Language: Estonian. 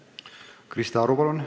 Krista Aru, palun!